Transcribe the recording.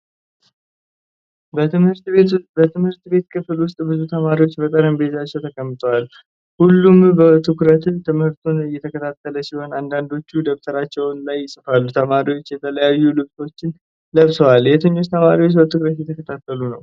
በትምህርት ቤት ክፍል ውስጥ ብዙ ተማሪዎች በጠረጴዛቸው ተቀምጠዋል። ሁሉም በትኩረት ትምህርቱን እየተከታተሉ ሲሆን፣ አንዳንዶቹ ደብተራቸው ላይ ይጽፋሉ። ተማሪዎቹ የተለያዩ ልብሶችን ለብሰዋል። የትኞቹ ተማሪዎች በትኩረት እየተከታተሉ ነው?